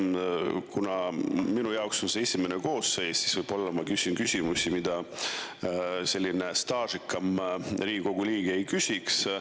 Kuna minu jaoks on see esimene koosseis, siis võib-olla ma küsin küsimusi, mida staažikam Riigikogu liige ei küsiks.